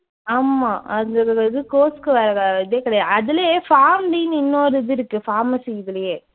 ஆமா அந்த இது course க்கு வேற இதே கிடையாது. அதுலயே pharmD ன்னு இன்னொரு இது இருக்கு pharmacy இதுலயே.